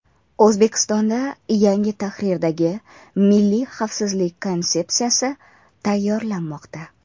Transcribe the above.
O‘zbekistonda yangi tahrirdagi Milliy xavfsizlik konsepsiyasi tayyorlanmoqda.